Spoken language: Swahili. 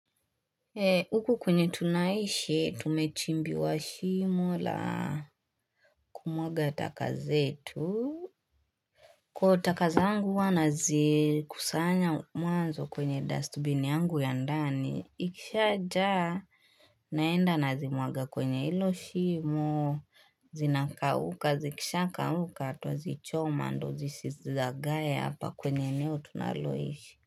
E, huku kwenye tunaishi, tumechimbiwa shimo la kumwaga taka zetu. Kwa taka zangu huwa nazikusanya mwanzo kwenye dustbin yangu ya ndani, ikishajaa naenda nazimwaga kwenye ilo shimo, zinakauka, zikishakauka, twazichoma, ndo zisizagae hapa kwenye eneo tunaloishi.